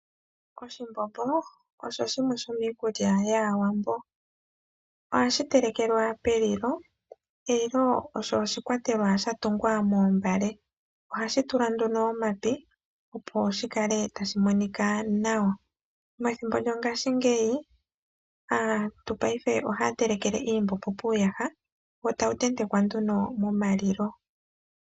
Oshimbombo osho shimwe shomiikulya yAawambo. Ohashi telekelwa pelilo. Elilo olyo oshikwatelwa sha tungwa moombale, oha li tulwa nduno omapi opo lyi kale tali monika nawa. Methimbo lyongashingeyi aantu ohaya telekele iimbombo puuyaha wo tawu tentekwa nduno momalilo.